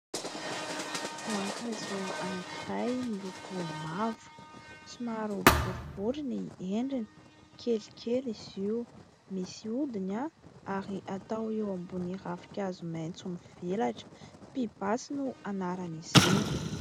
Voankazo anankiray miloko mavo. Somary boribory ny endriny. Kelykely izy io. Misy odiny ary atao eo ambonin'ny ravik'hazo maintso mivelatra. Pibasy no anarana izy io.